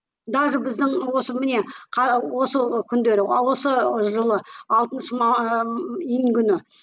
даже біздің осы міне осы күндері ы осы жылы алтыншы июнь күні